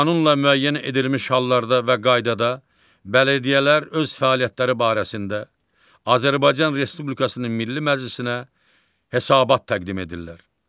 Qanunla müəyyən edilmiş hallarda və qaydada bələdiyyələr öz fəaliyyətləri barəsində, Azərbaycan Respublikasının Milli Məclisinə hesabat təqdim edirlər.